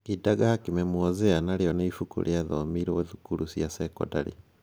Kidagaa kimemwozea narĩo nĩ ibuku rĩathomirwo thukuru cia cekondarĩ.